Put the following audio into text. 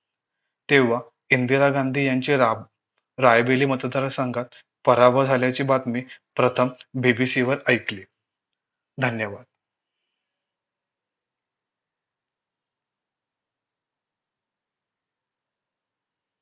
तेव्हा इंदिरा गांधी यांचे राब रायबेली मतदार संघात पराभव झाल्याची बातमी प्रथम BBC वर ऐकली धन्यवाद.